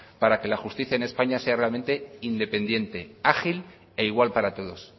para que la justicia en españa sea realmente independiente ágil e igual para todos